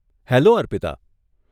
Hello, Arpita.